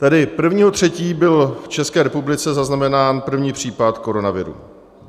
Tedy: 1. 3. byl v České republice zaznamenán první případ koronaviru.